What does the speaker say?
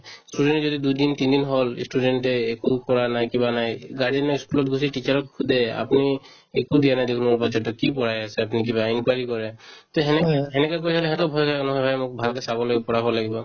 student য়ে যদি দুইদিন তিন দিন হ'ল ই student য়ে একো কৰা নাই কিবা নাই guardian য়ে ই school ত গৈছে teacher ক সোধে আপুনি একো দিয়া নাই দেখুন আমাৰ batches তোক কি পঢ়াই আছে আপুনি কিবা enquiry কৰে তে সেনেকে সেনেকে কৈ থ'লে সিহঁতেও ভয় খাই অলপ সেইকাৰণে মোক ভালকে চাব লাগিব ভালকে পঢ়াব লাগিব